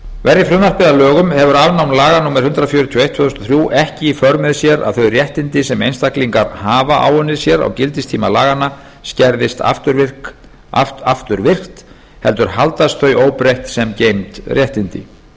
verði frumvarpið að lögum hefur afnám laga númer hundrað fjörutíu og eitt tvö þúsund og þrjú ekki í för með sér að þau réttindi sem einstaklingar hafa áunnið sér á gildistíma laganna skerðist afturvirkt heldur haldast þau óbreytt sem geymd réttindi með